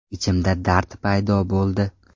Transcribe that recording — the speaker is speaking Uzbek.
Ichimda dard paydo bo‘ldi.